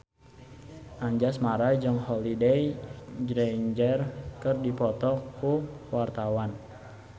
Anjasmara jeung Holliday Grainger keur dipoto ku wartawan